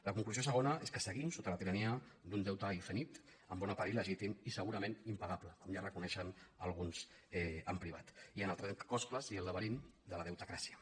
la conclusió segona és que seguim sota la tirania d’un deute infinit en bona part il·legítim i segurament im·pagable com ja reconeixen alguns en privat i en el trencaclosques i el laberint de la deutecràcia